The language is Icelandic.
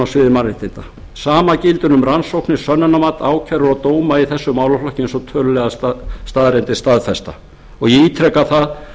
sviði mannréttinda sama gildir um rannsóknir sönnunarmat ákærur og dóma í þessum málaflokki eins og tölulegar staðreyndir staðfesta ég ítreka það að af hundrað